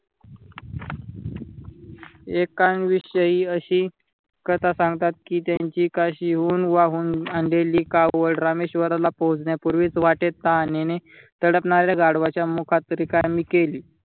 एकांविषयी अशी कथा सांगतात कि त्यांची कशी होऊन वाहून आणलेली कावड रामेश्वराला पोहचण्यापूर्वी वाटेत तहानेने ताडपणाऱ्या गाढवाच्या मुखात रिकामी केली.